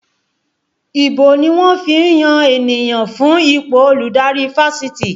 Ìbò ni wọ́n fi ń yan ènìyàn fún ipò olùdarí Fáṣitì